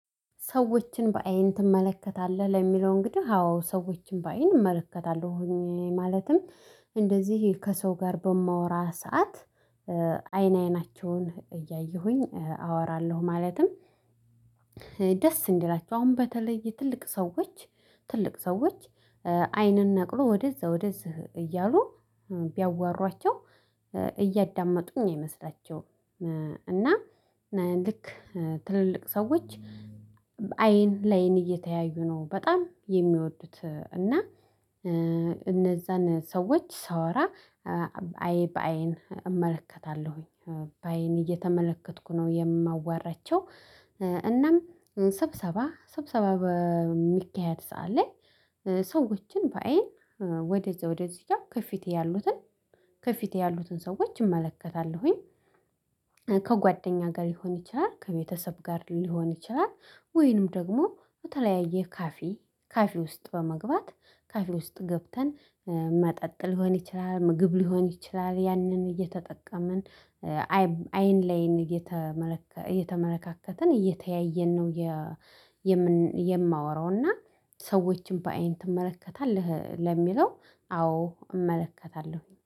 ሰዎችን በአይን ትመለከታለህ? ለሚለው እንግዲህ አዎ ሰዎችን በአይን እመለከታለሁ ሆኜ ማለትም እንደዚህ ከሰው ጋር በማወራ ሰዓት አይን አይናቸውን እያየሁኝ አወራለሁ ማለትም ደስ እንዲላችሁ አሁን በተለይ ትልቅ ሰዎች አይንን ነቅሎ ወደዛ ወደዚህ እያሉ ቢያዋሯቸው እያዳመጡኝ አይመስላቸውም። እና ልክ ትልልቅ ሰዎች አይን ለአይን እየተያዩ ነው በጣም የሚወዱት እና እነዛን ሰዎች ሳወራ አይን በአይን እመለከታለሁኝ። በአይን እየተመለከትኩ ነው የማዋራቸው። እናም ስብሰባ በሚካሄድ ሰዓት ላይ ሰዎችን በአይን ወደዚያ ወደዚያ ከፊቴ ያሉትን ከፊቴ ያሉትን ሰዎች እመለከታለሁኝ ከጓደኛ ጋር ሊሆን ይችላል፤ ከቤተሰብ ጋር ሊሆን ይችላል፤ ወይንም ደግሞ በተለያየ ካፊ ካፊ ውስጥ በመግባት ካፊ ውስጥ ገብተን መጠጥ ሊሆን ይችላል፤ ምግብ ሊሆን ይችላል፤ ያንን እየተጠቀምን አይን ላይ እየተመለካከትን እየተያየን ነው የማወራው እና ሰዎችን በአይን ትመለከታለህ ለሚለው አዎ እመለከታለሁ